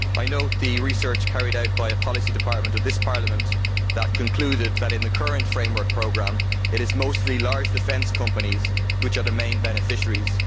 I note that research carried out by a policy department of this Parliament concluded that, in the current framework programme, it is mostly large defence companies that are the main beneficiaries.